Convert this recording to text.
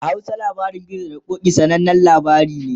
a Hausa labarin gizo da ƙoki, sananan labari ne